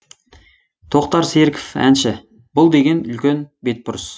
тоқтар серіков әнші бұл деген үлкен бетбұрыс